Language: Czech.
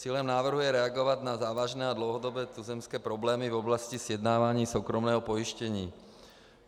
Cílem návrhu je reagovat na závažné a dlouhodobé tuzemské problémy v oblasti sjednávání soukromého pojištění.